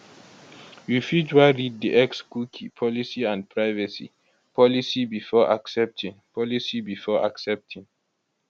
you fit wan read di xcookie policyandprivacy policybefore accepting policybefore accepting